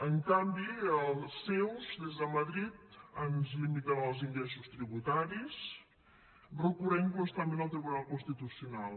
en canvi els seus des de madrid ens limiten els ingressos tributaris recorrent constantment al tribunal constitucional